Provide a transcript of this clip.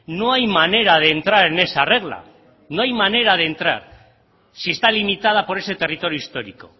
no hay manera de entrar en esa regla no hay manera de entrar si está limitada por ese territorio histórico